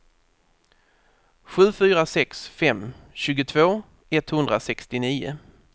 sju fyra sex fem tjugotvå etthundrasextionio